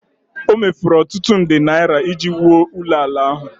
O mefuru ọtụtụ nde naira iji wuo ụlọala ahụ